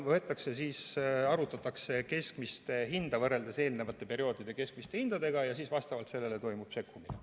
Seal arvutatakse keskmist hinda võrreldes eelnevate perioodide keskmiste hindadega ja vastavalt sellele toimub sekkumine.